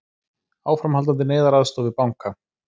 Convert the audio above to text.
Áframhaldandi neyðaraðstoð við banka